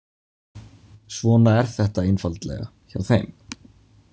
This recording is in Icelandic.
Svona er þetta einfaldlega hjá þeim.